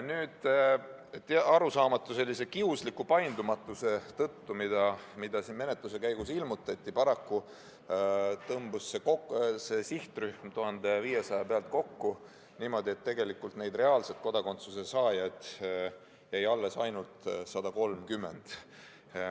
Nüüd, sellise arusaamatu kiusliku paindumatuse tõttu, mida siin menetluse käigus ilmutati, tõmbus see sihtrühm paraku 1500 pealt kokku niimoodi, et tegelikult neid reaalselt kodakondsuse saada võivaid lapsi jäi alles ainult 130.